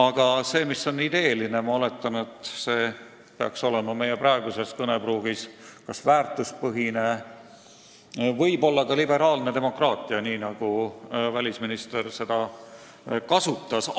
Ma oletan, et see "ideeline" peaks meie praeguses kõnepruugis tähendama "väärtuspõhist" või ka "liberaalset demokraatiat", nii nagu välisminister seda sõna kasutas.